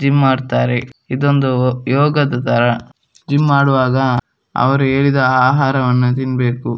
Gym ಮಾಡ್ತಾರೆ. ಇದೊಂದು ಯೋಗದ ತರ ಜಿಮ್ ಮಾಡುವಾಗ ಅವ್ರು ಹೇಳಿದ ಆಹಾರವನ್ನು ತಿನ್ಬೇಕು.